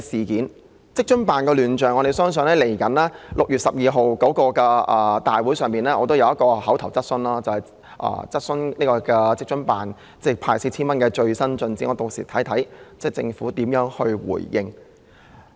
就職津辦的亂象，我即將在6月12日的立法會會議上提出一項口頭質詢，查詢派發 4,000 元的工作的最新進展，且看屆時政府有何回應。